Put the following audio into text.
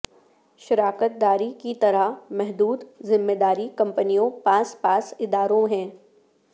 شراکت داری کی طرح محدود ذمہ داری کمپنیوں پاس پاس اداروں ہیں